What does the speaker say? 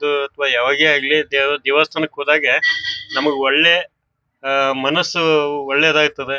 ಇದು ಅಥವಾ ಯಾವಾಗೆ ಆಗ್ಲಿ ದೇವ ದೇವಸ್ಥಾನಕ್ ಹೋದಾಗ ನಮ್ಮ ಒಳ್ಳೆ ಅಹ್ ಮನಸ್ಸು ಒಳ್ಳೆದಾಯತ್ತದ.